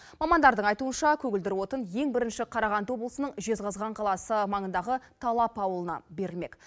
мамандардың айтуынша көгілдір отын ең бірінші қарағанды облысының жезқазған қаласы маңындағы талап ауылына берілмек